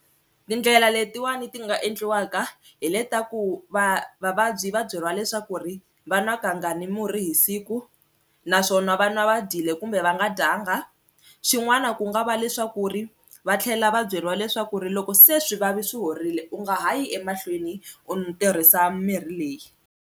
Tindlela letin'wani ti nga endliwaka hi le ta ku va vavabyi va byeriwa leswaku ri va nwa kangani murhi hi siku naswona va nwa va dyile kumbe va va nga dyanga, xin'wana ku nga va leswaku ri va tlhela va byeriwa leswaku ri loko se swivavi swi horile u nga ha yi emahlweni u tirhisa mirhi leyi.